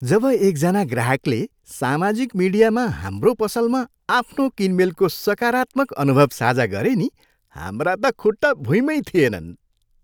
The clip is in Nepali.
जब एकजना ग्राहकले सामाजिक मिडियामा हाम्रो पसलमा आफ्नो किनमेलको सकारात्मक अनुभव साझा गरे नि हाम्रा त खुट्टा भुईँमै थिएनन्।